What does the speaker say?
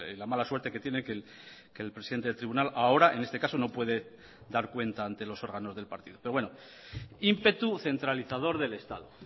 la mala suerte que tiene que el presidente del tribunal ahora en este caso no puede dar cuenta ante los órganos del partido pero bueno ímpetu centralizador del estado